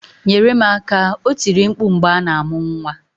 "Nyere m aka" o tiri mkpu mgbe a na-amụ nwa.